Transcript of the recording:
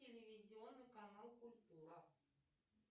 телевизионный канал культура